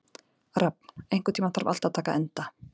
Rafn, einhvern tímann þarf allt að taka enda.